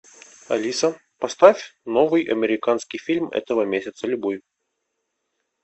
алиса поставь новый американский фильм этого месяца любой